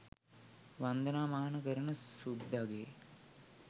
වන්දනා මාන කරන සුද්දගේ